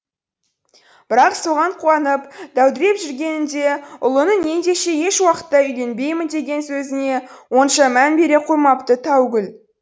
бірақ соған қуанып дәудіреп жүргенінде ұлының ендеше ешуақытта үйленбеймін деген сөзіне онша мән бере қоймапты таугүл